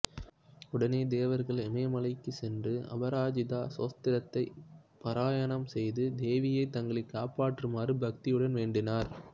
உடனே தேவர்கள் இமய மலைக்கு சென்று அபராஜிதா ஸ்தோத்திரத்தை பாராயணம் செய்து தேவியை தங்களை காப்பாற்றுமாறு பக்தியுடன் வேண்டினர்